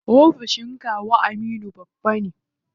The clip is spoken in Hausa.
Ofishin kawu Aminu babba ne.